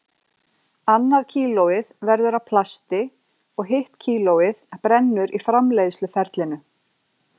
Annað kílóið verður að plasti og hitt kílóið brennur í framleiðsluferlinu.